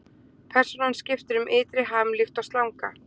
Persónan skiptir um ytri ham líkt og slanga.